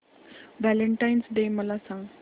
Valentine's day मला सांग